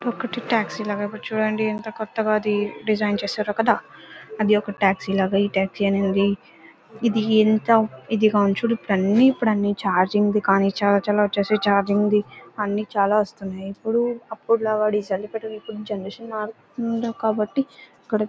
ఒకటి టాక్సీ లాగా చూడండి. ఇంతా కొత్తగా అది డిజైన్ చేశారో కదా అది ఒక టాక్సీ లాగా. ఈ టాక్సీ అనేది ఇది ఎంత చార్జింగ్ ది గానీ చాలా చాలా అన్ని వచ్చేసి చార్జింగ్ ది అన్ని చాలా వస్తున్నాయి. ఇప్పుడు జనరేషన్ మారుతుంది కాబట్టి ఇక్కడ --